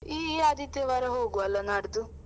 ಈ ಆದಿತ್ಯವಾರ ಹೋಗ್ವ ಅಲ್ಲ ನಾಡ್ದು.